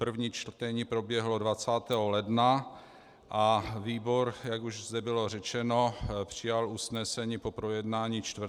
První čtení proběhlo 20. ledna a výbor, jak už zde bylo řečeno, přijal usnesení po projednání 4. února.